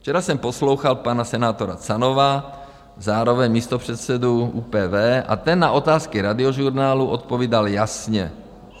Včera jsem poslouchal pana senátora Canova, zároveň místopředsedu ÚPV, a ten na otázky Radiožurnálu odpovídal jasně.